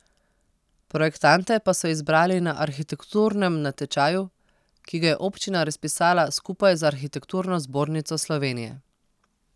Projektante pa so izbrali na arhitekturnem natečaju, ki ga je občina razpisala skupaj z Arhitekturno zbornico Slovenije.